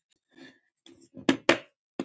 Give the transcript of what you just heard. Langt því frá.